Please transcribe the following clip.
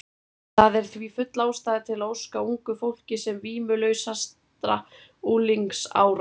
Það er því full ástæða til að óska ungu fólki sem vímulausastra unglingsára.